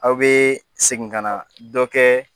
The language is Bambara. Aw bɛ segin ka na dɔ kɛ